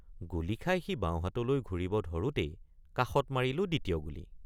গুলী খাই সি বাওঁহাতলৈ ঘূৰিব ধৰোঁতেই কাষত মাৰিলোঁ দ্বিতীয় গুলী।